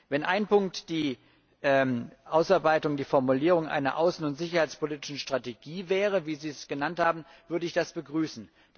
Wenn ein Punkt die Ausarbeitung, die Formulierung einer außen und sicherheitspolitischen Strategie wäre, wie Sie es genannt haben, würde ich das begrüßen.